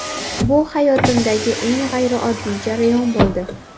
Bu hayotimdagi eng g‘ayrioddiy jarayon bo‘ldi.